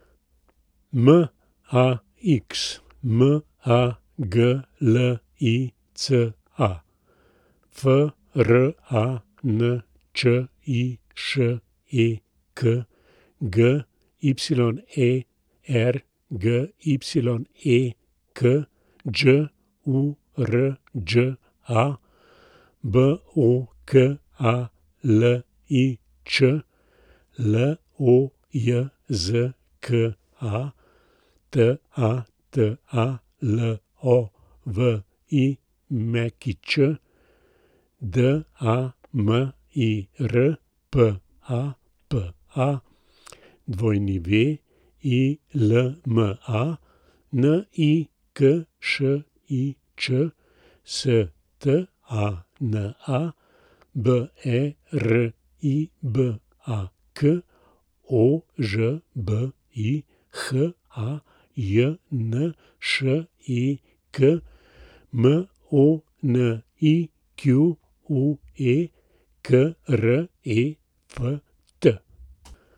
Max Maglica, Frančišek Gyergyek, Đurđa Bokalič, Lojzka Tatalović, Damir Papa, Wilma Nikšič, Stana Beribak, Ožbi Hajnšek, Monique Kreft.